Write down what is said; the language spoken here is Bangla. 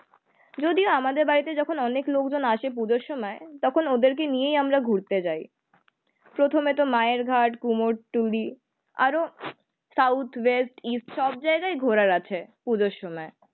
যদিও আমাদের বাড়িতে যখন অনেক লোকজন আসে পুজোর সময় তখন ওদেরকে নিয়েই আমরা ঘুরতে যায়। প্রথমেতো মায়ের ঘাট, কুমোরটুলি আরও সাউথ ওয়েস্ট ইস্ট সবজায়গায় ঘোরার আছে পুজোর সময়